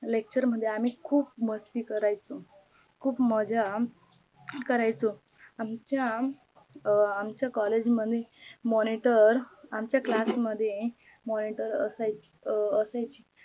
lecture मध्ये आम्ही खूप मस्ती करायचो, खूप मज्जा करायचो, आमच्या आमच्या COLLAGE मध्ये MONITOR आमच्या CLASS मध्ये MONITOR असायची अं असायची